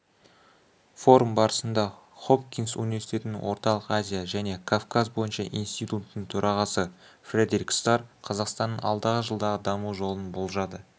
форум барысында хопкинс университетінің орталық азия және кавказ бойынша институттың төрағасы фредерик старр қазақстанның алдағы жылдағы даму жолын болжады